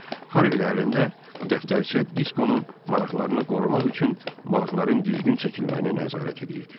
Harvi ailəndə dəftərçə Diskonun maraqlarını qorumaq üçün balıqların düzgün çəkilməyinə nəzarət edirdi.